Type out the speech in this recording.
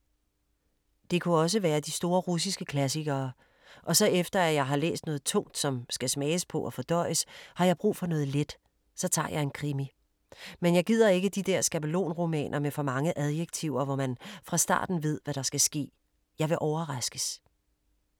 Det kunne også være de store russiske klassikere. Og så efter at jeg har læst noget tungt, som skal smages på og fordøjes, har jeg brug for noget let. Så tager jeg en krimi. Men jeg gider ikke de der skabelonromaner med for mange adjektiver, hvor man fra starten ved, hvad der skal ske. Jeg vil overraskes.